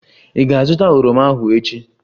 Ị ga-azụta oroma ahu echi!